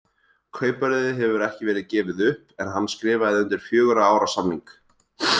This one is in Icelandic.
Kaupverðið hefur ekki verið gefið upp en hann skrifaði undir fjögurra ára samning.